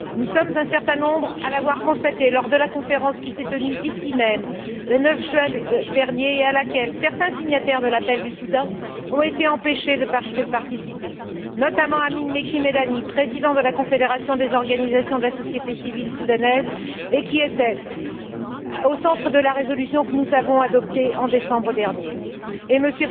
Nous sommes un certain nombre à l'avoir constaté lors de la conférence qui s'est tenue, ici même, le 9 juin dernier, et à laquelle certains signataires de l'appel du Soudan ont été empêchés de participer, notamment Amin Mekki Medani, président de la confédération des organisations de la société civile soudanaise, qui était au centre de la résolution que nous avons adoptée en décembre dernier, et M.